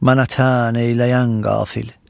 Mənə tən eyləyən qafil.